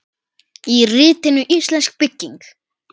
Í ritinu Íslensk bygging